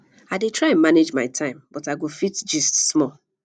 i dey try manage my time but i go fit gist small